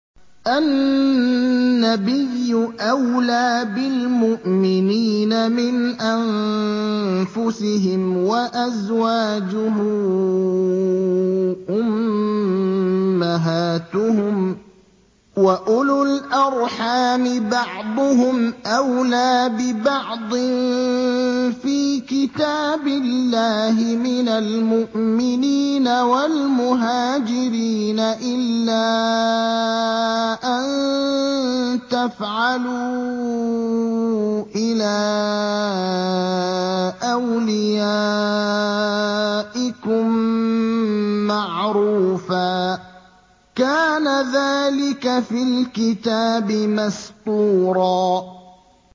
النَّبِيُّ أَوْلَىٰ بِالْمُؤْمِنِينَ مِنْ أَنفُسِهِمْ ۖ وَأَزْوَاجُهُ أُمَّهَاتُهُمْ ۗ وَأُولُو الْأَرْحَامِ بَعْضُهُمْ أَوْلَىٰ بِبَعْضٍ فِي كِتَابِ اللَّهِ مِنَ الْمُؤْمِنِينَ وَالْمُهَاجِرِينَ إِلَّا أَن تَفْعَلُوا إِلَىٰ أَوْلِيَائِكُم مَّعْرُوفًا ۚ كَانَ ذَٰلِكَ فِي الْكِتَابِ مَسْطُورًا